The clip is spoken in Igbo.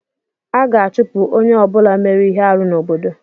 A ga-achụpụ onye ọ bụla mere ihe arụ n'obodo.